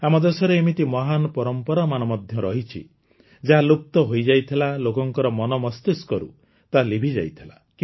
ଆମ ଦେଶରେ ଏମିତି ମହାନ ପରମ୍ପରାମାନ ମଧ୍ୟ ରହିଛି ଯାହା ଲୁପ୍ତ ହୋଇଯାଇଥିଲା ଲୋକଙ୍କର ମନ ମସ୍ତିଷ୍କରୁ ତାହା ଲିଭିଯାଇଥିଲା